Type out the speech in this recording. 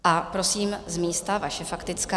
A prosím, z místa, vaše faktická.